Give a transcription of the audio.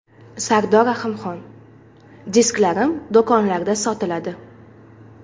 Sardor Rahimxon: Disklarim do‘konlarda sotiladi.